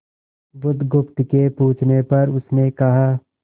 बुधगुप्त के पूछने पर उसने कहा